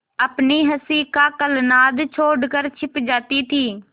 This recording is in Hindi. अपनी हँसी का कलनाद छोड़कर छिप जाती थीं